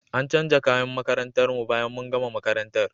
An canja kayan makarantar mu bayan mun gama makarantar.